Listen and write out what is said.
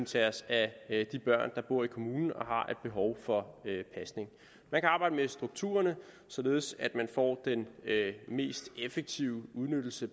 tage sig af de børn der bor i kommunen og har behov for pasning man kan arbejde med strukturerne således at man får den mest effektive udnyttelse